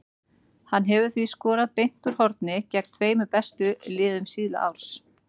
Hann hefur því skorað beint úr horni gegn tveimur bestu liðum síðasta árs.